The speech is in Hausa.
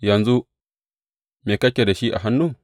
Yanzu, me kake da shi a hannu?